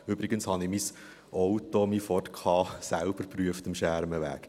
Übrigens: Ich habe mein Auto, meinen Ford Ka, selbst geprüft am Schermenweg.